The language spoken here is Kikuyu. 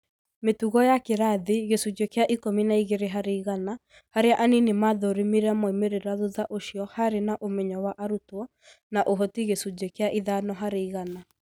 Mĩtugo ya kĩrathĩ gĩcunjĩ kĩa ikũmi na ĩgĩrĩ harĩ igana, harĩa anini mathurĩmire moimĩrĩra thutha ũcĩo harĩ ũmenyo wa arũtwo na ũhotĩ gĩcunjĩ kĩa ithano harĩ ĩgana.